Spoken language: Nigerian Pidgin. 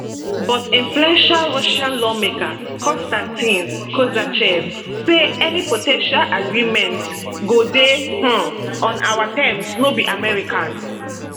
but influential russian lawmaker kostantin kosachev say any po ten tial agreements go dey um on our terms no be american